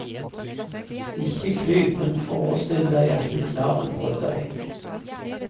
Ikke klyp, men forestill deg at du knar en brøddeig.